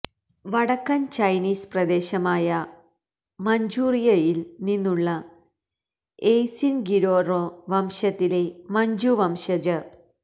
വടക്കൻ ചൈനീസ് പ്രദേശമായ മഞ്ചൂറിയയിൽ നിന്നുള്ള എയ്സിൻ ഗിരോറോ വംശത്തിലെ മഞ്ചു വംശജർ